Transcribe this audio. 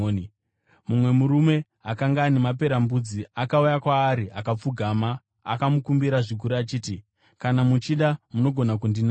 Mumwe murume akanga ana maperembudzi akauya kwaari akapfugama, akamukumbira zvikuru achiti, “Kana muchida, munogona kundinatsa.”